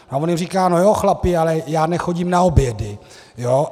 A on jim říká: No jo, chlapi, ale já nechodím na obědy.